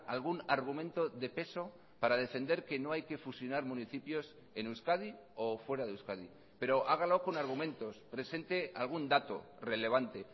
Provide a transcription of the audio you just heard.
algún argumento de peso para defender que no hay que fusionar municipios en euskadi o fuera de euskadi pero hágalo con argumentos presente algún dato relevante